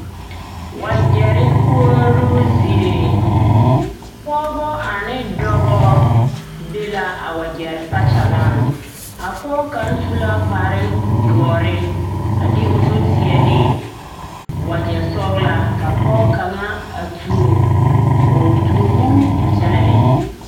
Wagyɛre koɔroo zie pɔgeba ane dɔba be la a wagyɛre kpakyagaŋ a pɔge kaŋ su la kparedɔre a de o zu teɛ ne wagyɛsɔglaa ka pɔge kaŋa a tuo o tuobu a kyɛnɛ ne.